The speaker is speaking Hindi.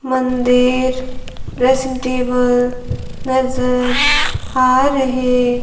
मंदिर ड्रेसिंग टेबल नजर आ रहे--